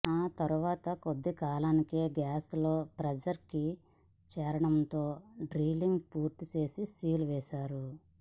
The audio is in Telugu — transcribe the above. ఆ తర్వాత కొద్ది కాలానికే గ్యాస్ లోఫ్రెజర్ కి చేరడంతో డ్రిల్లింగ్ పూర్తిచేసి సీలు వేశారు